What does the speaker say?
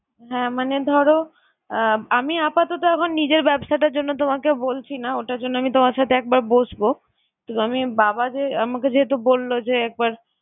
হ্যাঁ! মানে ধরো আমি আপাতত এখন নিজের ব্যবসাটার জন্য তোমাকে বলছি না। ওটার জন্য আমি তোমার সাথে একবার বসবো কিন্তু আমি বাবা যে আমাকে যেহেতু বললো যে একবার